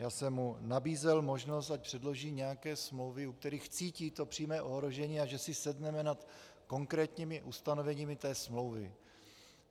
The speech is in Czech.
Já jsem mu nabízel možnost, ať předloží nějaké smlouvy, u kterých cítí to přímé ohrožení, a že si sedneme nad konkrétními ustanoveními té smlouvy.